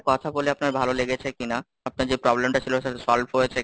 কথা বলে আপনার ভালো লেগেছে কিনা? আপনার যে problem টা ছিল সেটা solve হয়েছে,